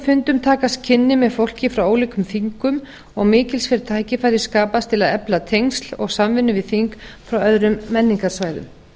fundum takast kynni með fólki frá ólíkum þingum og mikilsverð tækifæri skapast til að efla tengsl og samvinnu við þing frá öðrum menningarsvæðum